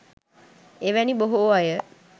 එවැනි බොහෝ අය